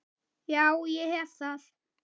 Já, ég hef það.